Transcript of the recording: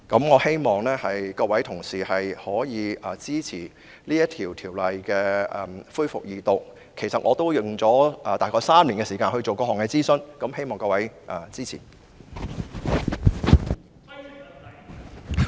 我希望各位同事支持《條例草案》恢復二讀，因為我合共花了大約3年時間進行各項諮詢，所以希望各位支持。